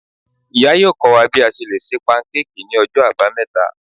iya yọọ kọ wa bi a ṣe le ṣe pankéèkí ni Ọjọ abámeta.